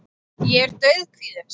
Ég er dauðkvíðinn samt.